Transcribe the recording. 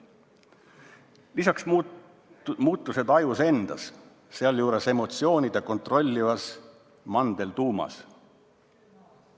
Lisaks muutused ajus endas, sealjuures emotsioone kontrollivas mandeltuumas.